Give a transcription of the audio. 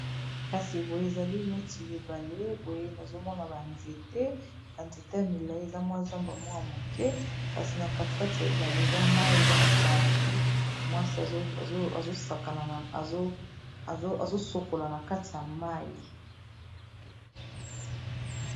kasi boye ezali neti ya ebale boye nazomona banzete na nzete ya milai eza mwa zamba mwaya moke kasi na katikati ya ebale eza mai eza na bato mwasi azosokola na kati ya mai